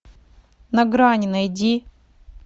на грани найди